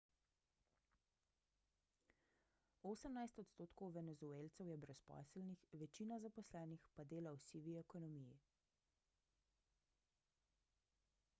osemnajst odstotkov venezuelcev je brezposelnih večina zaposlenih pa dela v sivi ekonomiji